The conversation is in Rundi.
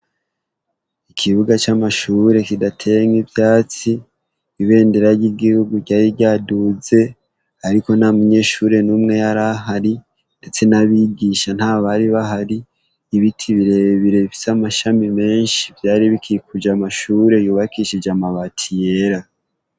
Ikibuga camashure kidateye mwivyatsi , ibendera ryigihugu ryari ryaduze ariko ntamunyeshure yari ahari ndetse nabigisha ntibari bahari ibiti nibirebire bifise amashami menshi vyari bikikuje amashami yubakishije amabati yera.